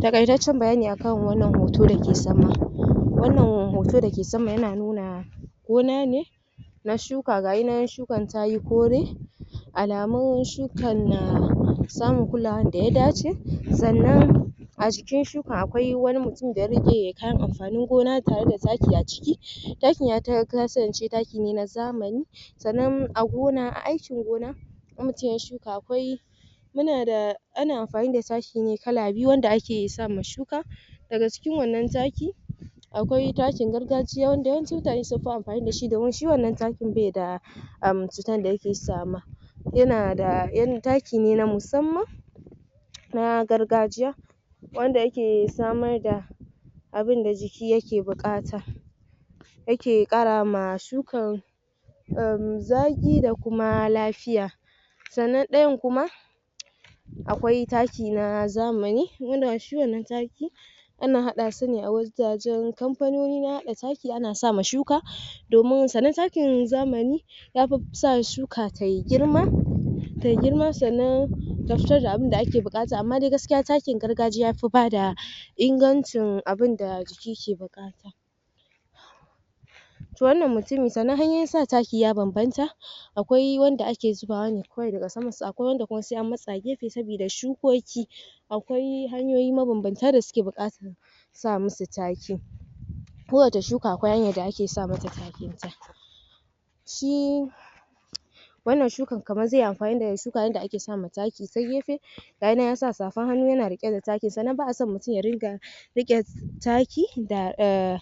Taƙaitaccen bayani a kan wannan hoto da ke sama. Wannan hoto da ke sama yana nuna gona ne na shuka. Ga shi nan shukar ta yi kore, alamun shukar na samun kulawar da ya dace. A jikin shukar, akwai wani mutum da ya riƙe kayan amfanin gona tare da taki a ciki. Takin ya kasance taki ne na zamani Sannan a aikin gona, in mutum ya yi shuka akwai muna da... ana amfani da taki ne kala biyu wanda ake sa ma shuka daga cikin wannan takin akwai takin gargajiya wanda yawanci mutane sun fi amfani da shi domin shi wannan takin ba shi da um yana da... taki ne na msuamman na gargajiya wanda yake samar da abin da jiki yake buƙata yake ƙara ma shukar um zaƙi da kuma lafiya sannan ɗayan kuma akwai taki na zamani. Shi wannan taki ana haɗa su ne a wajajen kamfanoni na haɗa taki ana sa ma shuka domin, sannan takin zamani ya fi sa shuka ta yi girma, ta yi girma. Sannan, ta fitar da abun da ake buƙata, amma dai gaskiya takin gargajiya ya fi ba da ingancin abin da jiki ke buƙata. To wannan mutumi. Sannan hanyoyin sa taki ya bambanta. akwai wanda ake zubawa ne kawai daga samansa. Akwai wanda kuma sai an matsa gefe saboda shukoki Akwai hanyoyi mabambanta da suke buƙatar sa musu takin Kowace shuka akwai hanyar da ake sa mata takinta Shi, wannan shukan kamar zai yi amfani ne da shuka kamar yadda ake sa ma taki ta gefe. Ga shi nan ya sa safar hannu yana riƙe da takin. Sannan ba a son mutum ya ringa riƙe taki da um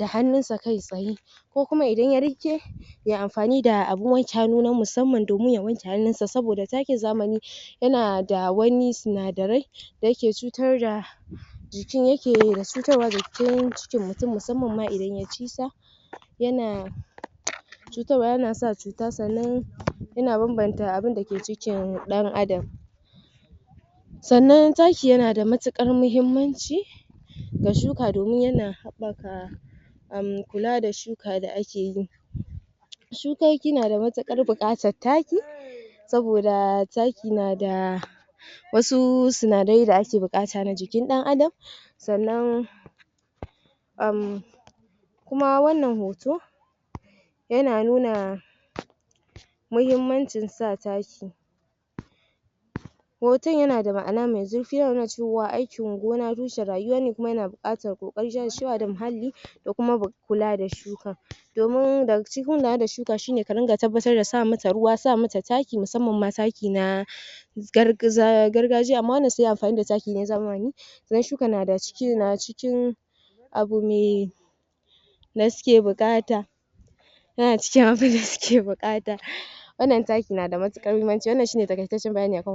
hannunsa kai-tsaye. Ko kuma idan ya riƙe ya yi amfani da abin wanke hannu na musamman domin ya wanke hannunsa saboda takin zamani yana da wani sinadarai da yake cutar da jiki, yake da cutarwa jikin cikin mutum musamman ma idan ya ci shi. Yana cutarwa. Yana sa cuta, sannan yana bambanta abin da ke cikin ɗan'adam. Sannan taki yana da matuƙar muhimmanci ga shuka domin yana haɓaka um kula da shuka da ake yi. Shukoki na da matuƙar buƙatar taki saboda taki na da wasu sinadarai da ake buƙata na jikin ɗan'adam Sannan, um kuma wannan hoto yana nuna muhimmanci sa taki Hoton yana da ma'ana mai zurfi; yana nuna cewa aikin gona tushen rayuwa ne kuma yana buƙatar ƙoƙari, jajircewa da muhalli da kuma kula da shukar domin daga cikin kula da shuka shi ne ka ringa tabbatar da sa mata ruwa, sa mata taki, musamman ma taki na gargajiya. Amma wanda suka yi amfani da taki na zamani idan shukar na cikin abu mai da suke buƙata yana cikin abin da suke buƙata wannan takin na da matuƙar muhimmanci. Wannan shi ne taƙaitaccen bayani a kan